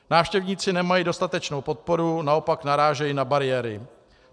Návštěvníci nemají dostatečnou podporu, naopak narážejí na bariéry.